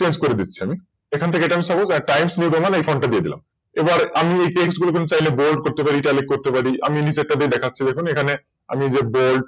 Change করে দিচ্ছি আমি এখান থেকে এটা আমি SuposeLineMode এই Font টা দিয়ে দিলাম এবার আমি এই Text গুলোকে চাইলে Bold করতে পারি Italic এখানে আমি নিচেরটা দিয়ে দেখাচ্ছি দেখুন এখানে Bold